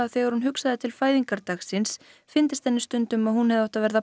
þegar hún hugsaði til fæðingardags síns fyndist henni stundum að hún hefði átt að verða